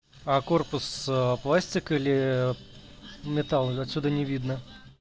а корпус пластик или металл отсюда не видно